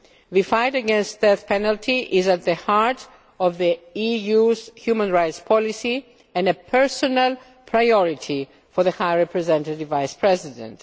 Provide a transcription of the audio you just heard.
The fight against the death penalty is at the heart of the EU's human rights policy and a personal priority for the High Representative Vice President.